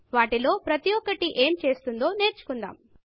వాటిలో ప్రతి ఒక్కటి ఏమి చేస్తుందో నేర్చుకుందాము